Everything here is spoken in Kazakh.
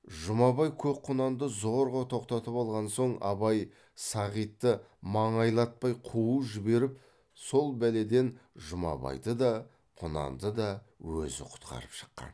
жұмабай көк құнанды зорға тоқтатып алған соң абай сағитты маңайлатпай қуып жіберіп сол бәледен жұмабайды да құнанды да өзі құтқарып шыққан